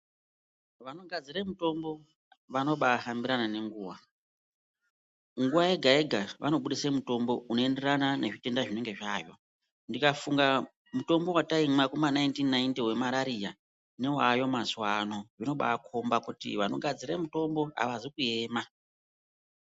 Vanogadzire mitombo vanoba ahambirane nenguwa ,nguwa yega yega vanobudise mutombo unoenderana nezvitenda zvinenge zvaayo, ndikafunga mutombo wataimwa Kuma1990 wemarariya newaayo mazuwa ano zvinoba akombe kuti vanogadzire mutombo wemarariya avazi kuema.